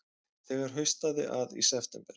Þegar haustaði að í september